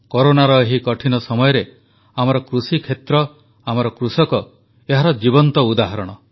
କରୋନାର ଏହି କଠିନ ସମୟରେ ଆମର କୃଷିକ୍ଷେତ୍ର ଆମର କୃଷକ ଏହାର ଜୀବନ୍ତ ଉଦାହରଣ